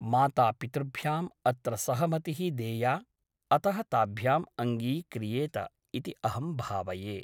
मातापितृभ्याम् अत्र सहमतिः देया । अतः ताभ्याम् अङ्गीक्रियेत इति अहं भावये ।